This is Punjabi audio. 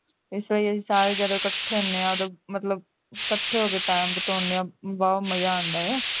ਇਸ ਵਾਰੀ ਅਸੀਂ ਸਾਰੇ ਜਣੇ ਇਕੱਠੇ ਹੁੰਦੇ ਹਾਂ ਮਤਲਬ ਇਕੱਠੇ ਹੋ ਕੇ time ਬਿਤਾਉਨੇ ਆ ਵਾਹਵਾ ਮਜ਼ਾ ਆਉਂਦਾ ਹੈ